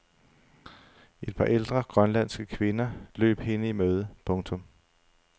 Et par ældre grønlandske kvinder løb hende i møde. punktum